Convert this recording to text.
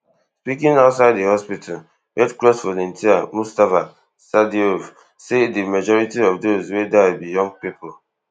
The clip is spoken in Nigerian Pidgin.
speaking outside di hospital red cross volunteer mustafa saidov say di majority of those wey die be young pipo